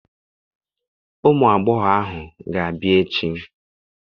Ụmụ agbọghọ ahụ ga-abịa echi.